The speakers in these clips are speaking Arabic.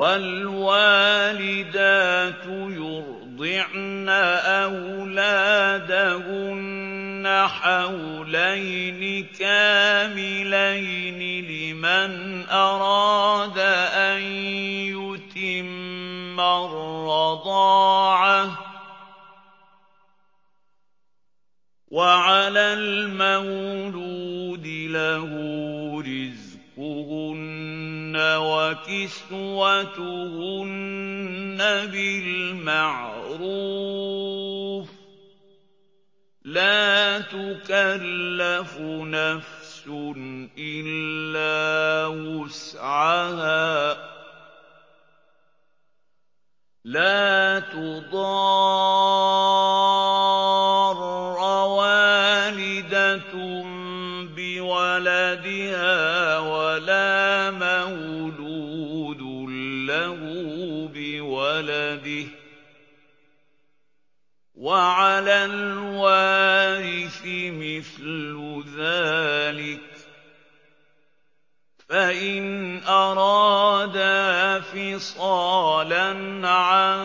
۞ وَالْوَالِدَاتُ يُرْضِعْنَ أَوْلَادَهُنَّ حَوْلَيْنِ كَامِلَيْنِ ۖ لِمَنْ أَرَادَ أَن يُتِمَّ الرَّضَاعَةَ ۚ وَعَلَى الْمَوْلُودِ لَهُ رِزْقُهُنَّ وَكِسْوَتُهُنَّ بِالْمَعْرُوفِ ۚ لَا تُكَلَّفُ نَفْسٌ إِلَّا وُسْعَهَا ۚ لَا تُضَارَّ وَالِدَةٌ بِوَلَدِهَا وَلَا مَوْلُودٌ لَّهُ بِوَلَدِهِ ۚ وَعَلَى الْوَارِثِ مِثْلُ ذَٰلِكَ ۗ فَإِنْ أَرَادَا فِصَالًا عَن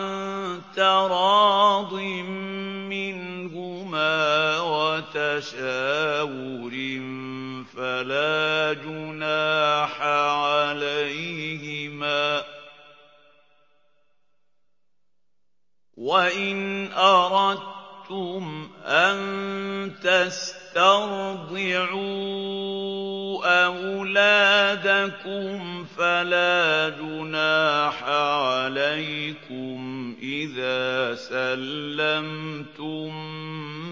تَرَاضٍ مِّنْهُمَا وَتَشَاوُرٍ فَلَا جُنَاحَ عَلَيْهِمَا ۗ وَإِنْ أَرَدتُّمْ أَن تَسْتَرْضِعُوا أَوْلَادَكُمْ فَلَا جُنَاحَ عَلَيْكُمْ إِذَا سَلَّمْتُم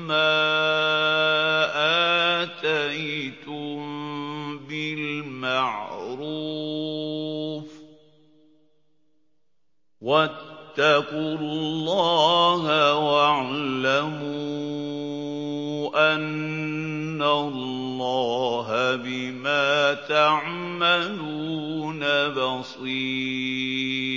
مَّا آتَيْتُم بِالْمَعْرُوفِ ۗ وَاتَّقُوا اللَّهَ وَاعْلَمُوا أَنَّ اللَّهَ بِمَا تَعْمَلُونَ بَصِيرٌ